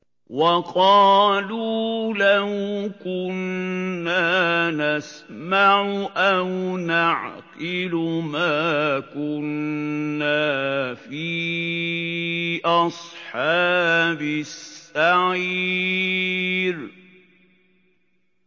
وَقَالُوا لَوْ كُنَّا نَسْمَعُ أَوْ نَعْقِلُ مَا كُنَّا فِي أَصْحَابِ السَّعِيرِ